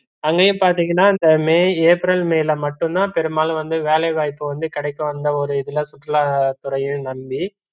அங்கயும் பாத்தீங்கன்னா இந்த மே, ஏப்ரல் மேல மட்டும் தா பெரும்பாலும் வந்து வேலைவைப்பு வந்து கிடைக்கும் அந்த ஒரு இதுல சுற்றுலதுறையும் நம்பி